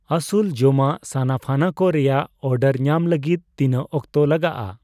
ᱟᱥᱩᱞ ᱡᱚᱢᱟᱜ ᱥᱟᱱᱟᱯᱷᱟᱱᱟ ᱠᱚ ᱨᱮᱭᱟᱜ ᱚᱰᱟᱨ ᱧᱟᱢ ᱞᱟᱹᱜᱤᱫ ᱛᱤᱱᱟᱹᱜ ᱚᱠᱛᱮ ᱞᱟᱜᱟᱜᱼ ᱟ ?